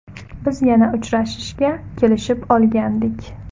Biz yana uchrashishga kelishib olgandik.